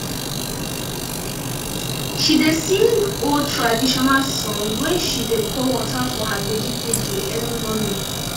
she dey sing old traditional song when she dey pour water for her vegetable early morning